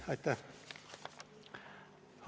Aitäh!